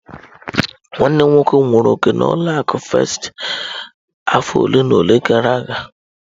Nwanne m nwoke nwere òkè na ụlọ akụ firsti afọ ole na ole gara aga.